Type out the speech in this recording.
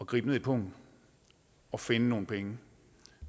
gribe ned i pungen og finde nogle penge